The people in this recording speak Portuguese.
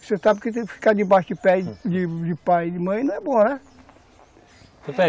Você sabe que tem que ficar de baixo de pé de pai e de mãe não é bom, né?